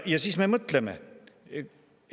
Ja siis me mõtleme.